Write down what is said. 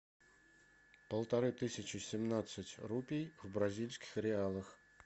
полторы тысячи семнадцать рупий в бразильских реалах